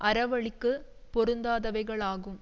அறவழிக்கு பொருந்தாதவைகளாகும்